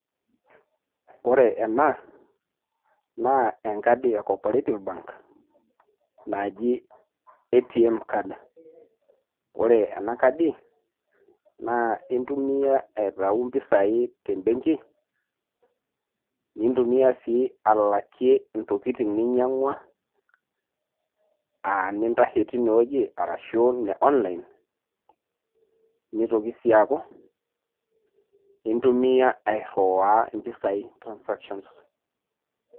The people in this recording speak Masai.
Ore ena, naa enkadi e Cooperative bank naji ATM card, kore ena cardi naa intumia aitayu impisai te mbengi niitumia sii alakie intokitin ninyang'ua, um nintashe teina anaa ne online, neitoki sii aaku intumia airuaya impisai transactions.